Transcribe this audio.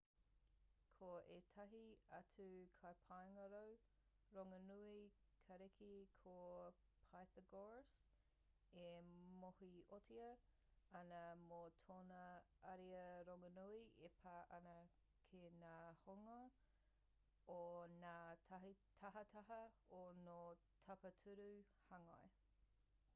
ko ētahi atu kaipāngarau rongonui kariki ko pythagoras e mōhiotia ana mō tōna ariā rongonui e pā ana ki ngā hononga o ngā tahataha o ngā tapatoru hāngai